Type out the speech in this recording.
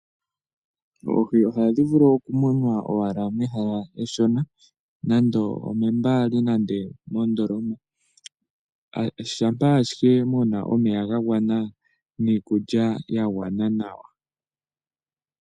Oohi ohadhi vulu okumunwa owala mehala eshona nando omeembali nande mondoloma, shampa ashike muna omeya ga gwana niikulya yagwana nawa.